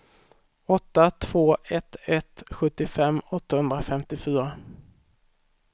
åtta två ett ett sjuttiofem åttahundrafemtiofyra